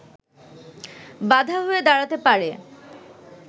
বাধা হয়ে দাঁড়াতে পারে